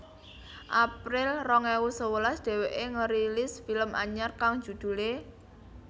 April rong ewu sewelas dheweké ngerilis film anyar kang judulé